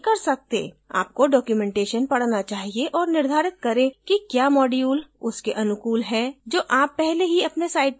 आपको documentation पढना चाहिए और निर्धारित करें कि क्या module उसके अनुकूल है जो आप पहले ही अपने site पर कर चुके हैं